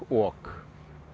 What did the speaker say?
ok